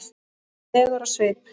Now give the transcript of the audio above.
legur á svip.